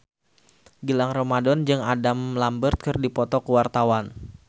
Gilang Ramadan jeung Adam Lambert keur dipoto ku wartawan